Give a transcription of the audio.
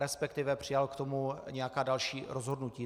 Respektive přijal k tomu nějaká další rozhodnutí.